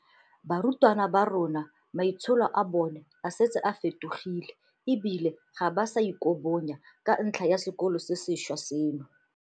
"Barutwana ba rona maitsholo a bona a setse a fetogile e bile ga ba sa ikobonya ka ntlha ya sekolo se sentšhwa seno."